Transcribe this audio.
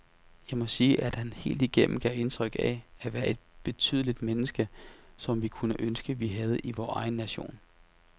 Jeg må sige, at han helt igennem gav indtryk af at være et betydeligt menneske, som vi kunne ønske, vi havde i vor egen nation.